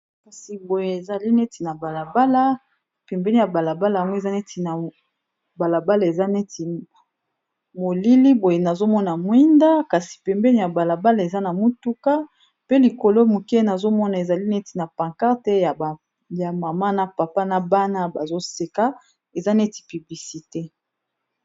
Kasi boye ezali neti na balabala pembeni ya balabala yango eza neti na balabala eza neti molili boye nazomona mwinda kasi pembeni ya balabala eza na motuka pe likolo moke nazomona ezali neti na pancarte ya mama na papa na bana bazoseka eza neti publicité.